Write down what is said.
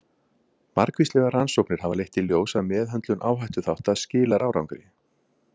Margvíslegar rannsóknir hafa leitt í ljós að meðhöndlun áhættuþátta skilar árangri.